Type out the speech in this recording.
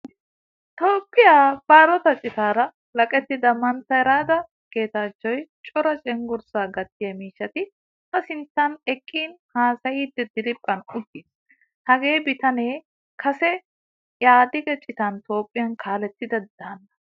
Toophphiyaa balotta citara walaqettida mantta reda getachoy cora cenggurssa gatiyaa miishshati a sinttan eqqin haasayidi diriphphan uttiis. Hagee biitane kase ehadige citan toophphiyaa kalettida daanna.